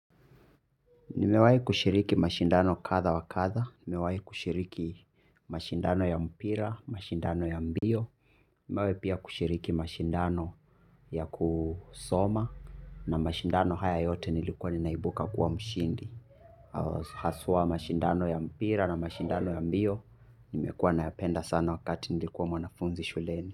Nime wahi kushiriki mashindano kadhaa wa kadhaa, nime wahi kushiriki mashindano ya mpira, mashindano ya mbio, nime wahi pia kushiriki mashindano ya kusoma na mashindano haya yote nilikuwa nina ibuka kuwa mshindi. Haswa mashindano ya mpira na mashindano ya mbio, nimekuwa na yapenda sana wakati nilikuwa mwanafunzi shuleni.